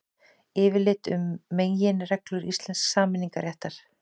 Yfirlit um meginreglur íslensks samningaréttar.